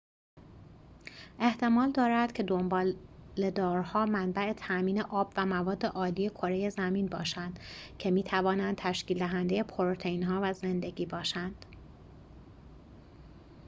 احتمال دارد که دنباله‌دارها منبع تامین آب و مواد‌آلی کره زمین باشند که می‌توانند تشکیل‌دهنده پروتئین‌ها و زندگی باشند